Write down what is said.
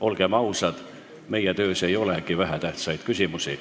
Olgem ausad, meie töös ei olegi vähetähtsaid küsimusi.